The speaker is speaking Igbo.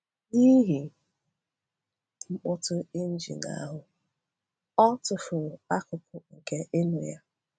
N’ihi mkpọtụ injin ahụ, ọ tụfuru akụkụ nke ịnụ ya.